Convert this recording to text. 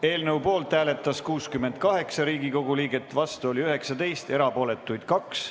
Eelnõu poolt hääletas 68 Riigikogu liiget, vastu oli 19 ja erapooletuks jäi 2.